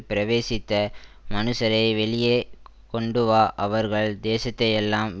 பிரவேசித்த மனுஷரை வெளியே கொண்டுவா அவர்கள் தேசத்தையெல்லாம்